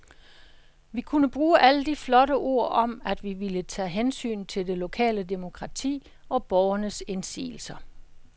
Vi kunne bruge alle de flotte ord om, at vi ville tage hensyn til det lokale demokrati og borgernes indsigelser.